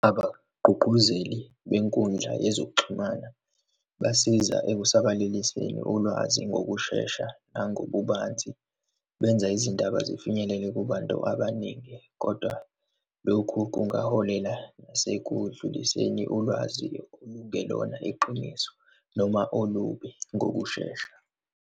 Abagqugquzeli benkundla yezokuxhumana basiza ekusabalaliseni ulwazi ngokushesha nangokubanzi, benza izindaba zifinyelele kube bantu abaningi. Kodwa lokhu kungaholela nasekudluliseni ulwazi ungelona iqiniso noma olubi ngokushesha.